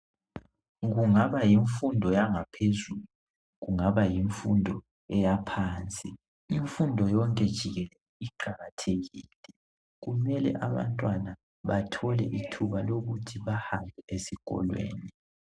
Kungaba yimfundo yangaphezulu kungaba yimfundo eyaphansi .Imfundo yonke jikelele iqakathekile, kumele abantwana bathole ithuba lokuthi bahambe esikolweni.